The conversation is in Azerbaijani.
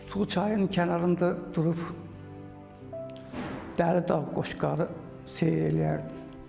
Tutqu çayın kənarında durub Dəli dağ, Qoşqarı seyr eləyərdim.